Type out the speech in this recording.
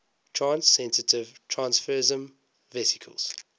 stress sensitive transfersome vesicles